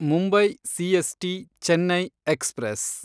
Mumbai CST Chennai express